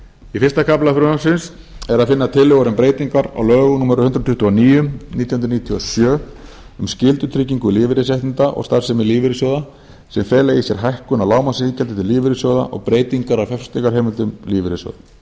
í fyrsta kafla frumvarpsins er að finna tillögur um breytingar á lögum númer hundrað tuttugu og níu nítján hundruð níutíu og sjö um skyldutryggingu lífeyrisréttinda og starfsemi lífeyrissjóða sem fela í sér hækkun á lágmarksiðgjaldi til lífeyrissjóða og breytingar á fjárfestingarheimildum lífeyrissjóða